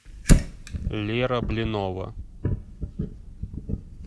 лера блинова